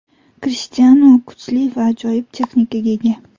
Krishtianu kuchli va ajoyib texnikaga ega.